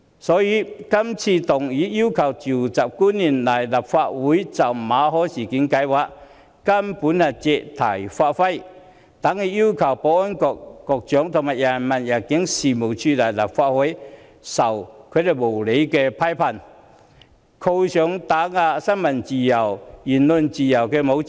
所以，議案要求傳召官員到立法會來就馬凱事件作出解釋，根本是借題發揮，等於要求保安局局長和入境處處長來立法會接受無理批判，被扣上打壓新聞自由和言論自由的帽子。